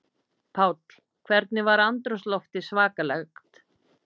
Páll: Hvernig var andrúmsloftið svakalegt?